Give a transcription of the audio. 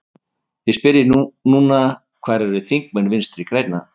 Því spyr ég núna, hvar eru þingmenn Vinstri grænna?